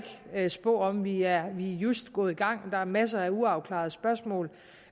ikke spå om vi er just gået i gang og der er masser af uafklarede spørgsmål